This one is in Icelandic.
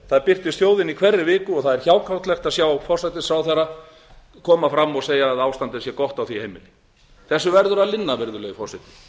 það birtist þjóðinni í hverri viku og það er hjákátlegt að sjá forsætisráðherra koma fram og segja að ástandið sé gott á því heimili þessu verður að linna virðulegi forseti